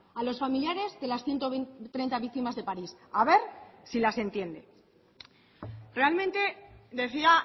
a los familiares de las ciento treinta víctimas de parís a ver si las entiende realmente decía